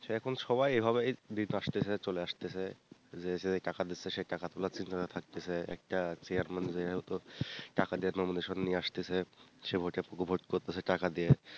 সে এখন সবাই এভাবেই দিন আসতেছে চলে আসতেছে, যে যেই টাকা দিতেছে সে টাকা তুলার জন্য থাকতেছে একটা chairman যেহেতু টাকা দিয়ে nomination নিয়ে আসতেছে সে যেহেতু উবোধ করতেছে টাকা দিয়ে,